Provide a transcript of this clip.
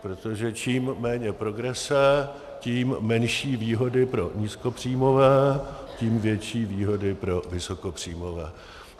Protože čím méně progrese, tím menší výhody pro nízkopříjmové, tím větší výhody pro vysokopříjmové.